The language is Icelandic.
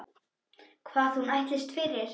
Hvað hún ætlist fyrir.